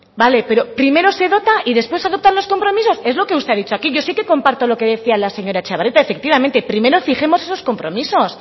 vale pero primero se dota y después se adoptan los compromisos es lo que usted ha dicho aquí yo sé que comparto lo que decía la señora etxebarrieta efectivamente primero fijemos esos compromisos